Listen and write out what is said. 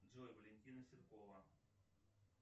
джой валентина ситкова